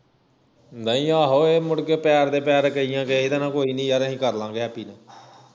ਨਹੀਂ ਆਹੋ ਇਹ ਮੁੜਕੇ ਪੈਰ ਦੇ ਪੈਰ ਕਈ ਦਾ ਕੋਈ ਨੀ ਯਾਰ ਅਹੀ ਕਰਲਾਂਗੇ ਹੈਪੀ ਨਾਲ